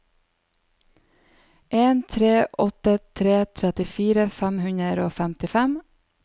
en tre åtte tre trettifire fem hundre og femtifem